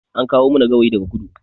An kawo mana gawayi daga kudu